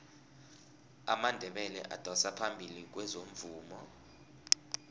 amandebele adosa phambili kwezomvumo